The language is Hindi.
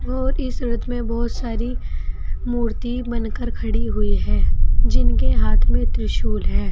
और इस रथ में बहोत सारी मूर्ति बनकर खड़ी हुई है जिनके हाथ में त्रिशूल है।